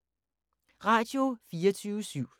Radio24syv